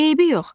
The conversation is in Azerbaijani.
Eybi yox,